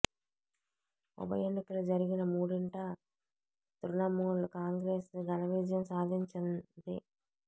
ఉప ఎన్నికలు జరిగిన మూడింటా తృణమూల్ కాంగ్రెస్ ఘన విజయం సాధించంది